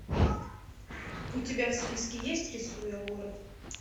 у тебя в списке есть рисуя город